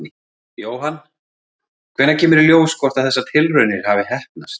Jóhann: Hvenær kemur í ljós hvort að þessar tilraunir hafi heppnast?